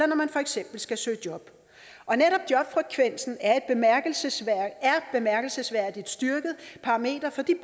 når man for eksempel skal søge job netop jobfrekvensen er et bemærkelsesværdig styrket parameter for de